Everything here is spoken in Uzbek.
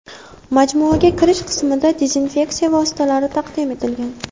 Majmuaga kirish qismida dezinfeksiya vositalari taqdim etilgan.